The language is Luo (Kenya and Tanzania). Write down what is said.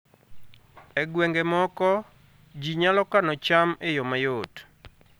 E gwenge moko, ji nyalo kano cham e yo mayot